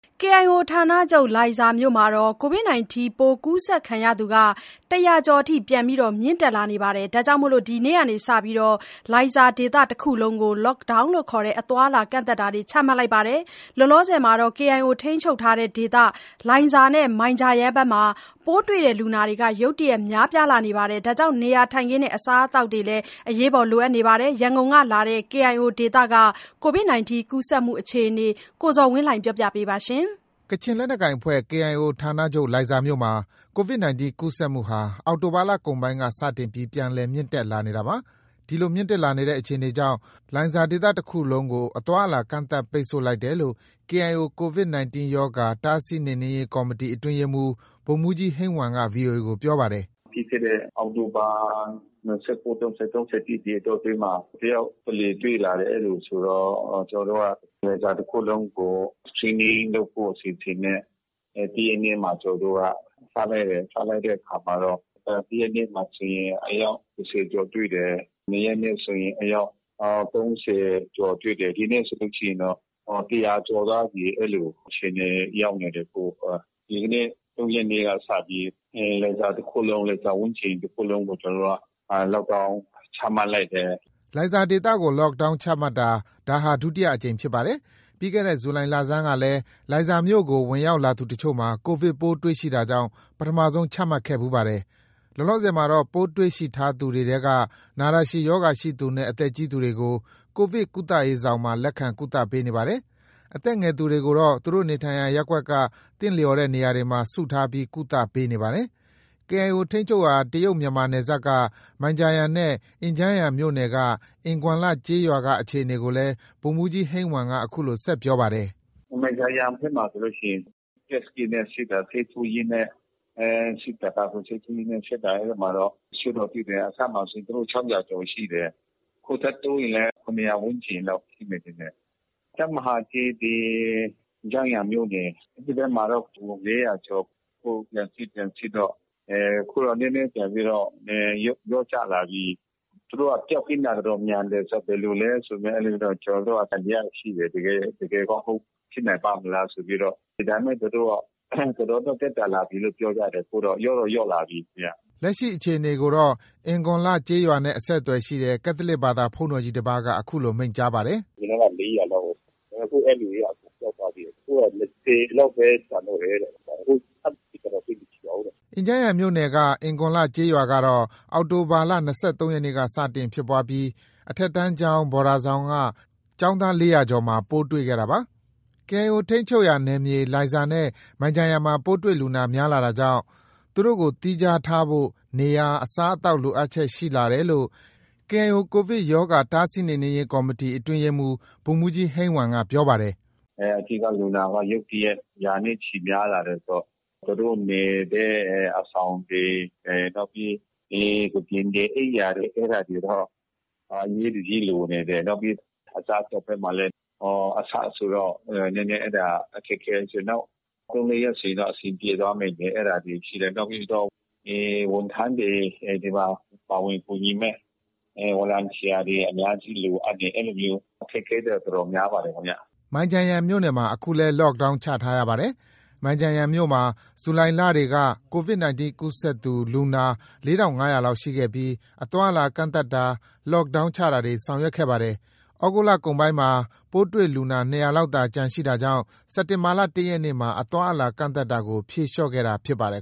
KIO ဌာချုပ် လိုင်ဇာမြို့မှာ Covid 19 ပိုးကူးစက်သူ ၁၀၀ ကျော်အထိ ပြန်လည် မြင့်တက်လာနေတာကြောင့် ဒီနေ့က စတင်ပြီး လိုင်ဇာဒေသတခုလုံးကို Lockdown ခေါ် အသွားအလာကန့်သတ်တာတွေ ချမှတ်လိုက်ပါတယ်။ လောလောဆယ် KIO ထိန်းချုပ်ဒေသ လိုင်ဇာ၊ မိုင်ဂျာယန်မှာ ပိုးတွေ့လူနာတွေ ရုတ်တရက်များပြားလာတာကြောင့် နေရာထိုင်ခင်းနဲ့ အစားအစာတွေ လိုအပ်နေပါတယ်။ ရန်ကုန်ကလာတဲ့ KIO ဒေသက Covid 19 ကူးစက်မှုအခြေအနေကို ကိုဇော်ဝင်းလှိုင်က တင်ပြပေးထားပါတယ်။ ကချင်လက်နက်ကိုင်အဖွဲ့ KIO ဌာနချုပ် လိုင်ဇာမြို့မှာ Covid 19 ပိုးကူးစက်မှုဟာ အောက်တိုဘာ လကုန်ပိုင်းက စတင်ပြီး ပြန်လည်မြင့်တက်လာနေတာပါ။ ဒီလိုမြင့်တက်လာတဲ့အခြေအနေကြောင့် လိုင်ဇာဒေသတခုလုံးကို အသွားအလာကန့်သတ်ပိတ်ဆို့လိုက်တယ်လို့ KIO Covid -19 ရောဂါ တားဆီးနှိမ်နင်းရေး ကော်မတီ အတွင်းရေးမှူး ဗိုလ်မှုးကြီး ဟိန်းဝမ်က VOA ကို ပြောပါတယ်။ “ပြီးခဲ့တဲ့အောက်တိုဘာ ၂၉- ၃၀- ၃၁ အတောအတွင်းမှာ တယောက်တလေ တွေ့လာတယ်။ အဲလိုဆိုတော့ လိုင်ဇာတခုလုံးကို Screening လုပ်ဖို့အစီအစဉ်နဲ့ တရက်နေ့မှာ ကျနော်တို့က စလိုက်တယ်။ စလိုက်တဲ့အခါမှာတော့ တရက်နေ့မှာဆိုရင် ဆယ်ယောက်ကျော် တွေ့တယ်။ နှစ်ရက်နေ့ဆိုရင် အယောက် ၃၀ ကျော်တွေ့တယ်။ ဒီနေ့ဆိုရင်တော့ ၁၀၀ ကျော်သွားပြီ။ အဲလို အခြေအနေ ရောက်နေတယ်။ အခု ဒီနေ့ ၃ ရက်နေ့က စတင်ပြီး လိုင်ဇာတခုလုံး၊ လိုင်ဇာဝန်းကျင်တခုလုံးကို Lockdown ချမှတ်လိုက်တယ်။” လိုင်ဇာဒေသကို Lockdown ချမှတ်တာဟာ ဒါဟာ ဒုတိယအကြိမ်ဖြစ်ပါတယ်။ ပြီးခဲ့တဲ့ ဇူလိုင်လဆန်းကလည်း လိုင် ဇာမြို့ကို ဝင်ရောက်လာသူအချို့မှာ Covid ပိုးတွေ့ရှိတာကြောင့် ပထမဆုံးချမှတ်ခဲ့ဖူးပါတယ်။ လောလောဆယ်မှာတော့ ပိုးတွေ့ရှိထားသူတွေထဲက နာတာရှည်ရောဂါရှိသူနဲ့ အသက်ကြီးသူတွေကို Covid ကုသရေးဆောင်မှာ လက်ခံ ကုသနေပါတယ်။အသက်ငယ်သူတွေကိုတော့ သူတို့နေထိုင်ရာ ရပ်ကွက်က သင့်လျော်တဲ့နေရာမှာ စုထားပြီး ကုသပေးနေပါတယ်။ KIO ထိန်းချုပ်ရာ တရုတ် - မြန်မာနယ်စပ်က မိုင်ဂျာယန်နဲ့ အင်ဂျန်းယန်မြို့နယ် အင်ဂွမ်လ ကျေးရွာက အခြေအနေကိုလည်း ဗိုလ်မှူးကြီး ဟိန်းဝမ်က အခုလို ဆက်ပြောပါတယ်။ “မိုင်ဂျာယန်ဘက်မှာဆိုရင် Test kit နဲ့ စစ်တာ၊ ဆေးထိုးရင်းနဲ့ စစ်တာ၊ ကာကွယ်ဆေးထိုးရင်းနဲ့ စစ်တာ အဲဒီမှာ တချို့တော့ တွေ့တယ်။ အစမှာဆိုရင် ၆၀၀ ကျော်ရှိတယ်။ အခုထပ်တိုးရင်လည်း ၇၀၀ ဝန်းကျင်တော့ ရှိမယ်ထင်တယ်။ တပ်မဟာ ၁၊ အင်ဂျန်းယန်မြို့နယ် အဲဒီဘက်မှာတော့ ၄၀၀ ကျော်။ အခု လက်ရှိ ပြန်စစ်တော့ အခုတော့ နည်းနည်းပြန်ပြီးတော့ လျော့ကျလာပြီ။ သူတို့က ပျောက်ကင်းတာ မြန်တယ်ဆိုတော့ ဘယ်လိုလဲဆို ကျနော်တို့က သံသယရှိတယ်။ တကယ်ကော ဖြစ်နိုင်ပါ့မလားဆိုပြီးတော့ ဒါပေမဲ့ သူတို့ တော်တော်လေး သက်သာလာပြီလို့ ပြောကြတယ်။ ခုက လျော့တော့ လျော့လာပြီ။” လက်ရှိအခြေအနေကိုတော့ အင်ဂွန်လ ကျေးရွာနဲ့ အဆက်အသွယ်ရှိတဲ့ ကက်သလစ်ဘာသာ ဘုန်းတော်ကြီး တပါးက အခုလို မိန့်ကြားပါတယ်။ “အရင်တုံးက ၄၀၀ လောက်ကို အခု အဲဒီလူတွေက အကုန်ပျောက်သွားပြီတဲ့။ အခုတော့ ၂၀ လောက်ပဲ ကျန်တော့တယ်တဲ့။ အခု ထပ်စစ်တာတော့ သိပ်မရှိတော့ဘူးတဲ့။” အင်ဂျန်းယန်မြို့နယ်က အင်ဂွန်လ ကျေးရွာကတော့ အောက်တိုဘာလ ၂၃ ရက်နေ့က စတင်ဖြစ်ပွားပြီး အထက်တန်းကျောင်း ဘော်ဒါဆောင်က ကျောင်းသား ၄၀၀ ကျော်မှာ ပိုးတွေ့ခဲ့တာပါ။ KIO ထိန်းချုပ်နယ်မြေက လိုင်ဇာနဲ့ မိုင်ဂျာယန်မှာ ပိုးတွေ့လူနာ များပြားလာတာကြောင့် သူတို့ကိုသီးခြားထားဖို့ နေရာ အစားအသောက် လိုအပ်ချက်တွေ ရှိလာတယ်လို့ KIO Covid -19 ရောဂါ တားဆီးနှိမ်နင်းရေး ကော်မတီ အတွင်းရေးမှုး ဗိုလ်မှူးကြီး ဟိန်းဝမ်က ပြောပါတယ်။ “အဓိက လူနာက ရုတ်တရက် ရာနဲ့ ချီများလာတယ်ဆိုတော့ သူတို့နေတဲ့ အဆောင်တွေ၊ နောက်ပြီး ကုတင်တွေ၊ အိပ်ယာတွေတော့ အရေးတကြီးလိုနေတယ်။ နောက်ပြီး အစားအသောက်ဘက်မှာလည်း အစဆိုတော့ နည်းနည်း အဲဒါ အခက်အခဲရှိတယ်။ နောက် ၃- ၄ ရက်ဆိုရင်တော့ အဆင်ပြေသွားမယ်။ အဲဒါတွေရှိတယ်။ နောက်ပြီးတော့ ဝန်ထမ်းတွေ၊ ဒီမှာ ပါဝင်ကူညီမယ့် ဗော်လံတီယာတွေ အများကြီး လိုအပ်တယ်။ အဲလိုမျိုးအခက်အခဲတွေတော့ တော်တော်များပါတယ်ခင်ဗျ။” မိုင်ဂျာယန်မြို့မှာ အခုလည်း Lockdown ချထားရပါတယ်။ မိုင်ဂျာယန်မြို့မှာ ဇူလိုင်လတွေက Covid ကူးစက်သူ လူနာ ၄၅၀၀ လောက်ရှိခဲ့ပြီး အသွားအလာ ကန့်သတ်တာ Lockdownချာတာတွေ ဆောင်ရွက်ခဲ့ပါတယ်။ သြဂုတ်လကုန်ပိုင်းမှာ ပိုးတွေ့လူနာ ၂၀၀ လောက်သာ ကျန်ရှိတာကြောင့် စက်တင်ဘာလ ၁ ရက်နေ့မှာ အသွားအလာကန့်သတ်တာကို ဖြေလျော့ခဲ့တာဖြစ်ပါတယ်